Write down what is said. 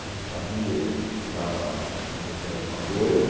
A gente sabia que estava acontecendo alguma coisa.